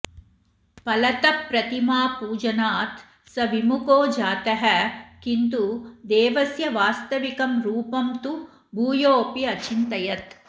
फलतः प्रतिमापूजनात् स विमुखो जातः किन्तु देवस्य वास्तविकं रुपं तु भूयोऽपि अचिन्तयत्